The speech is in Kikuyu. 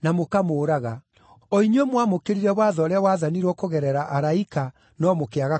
o inyuĩ mwamũkĩrire watho ũrĩa waathanirwo kũgerera araika no mũkĩaga kũwathĩkĩra.”